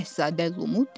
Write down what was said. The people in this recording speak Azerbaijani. Şahzadə Lumu dedi.